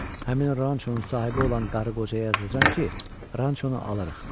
Həmin o rançonun sahibi olan qarı qocaya yazacam ki, rançonu alırıq.